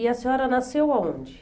E a senhora nasceu aonde?